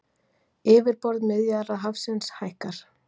Yfirborð Miðjarðarhafsins hækkar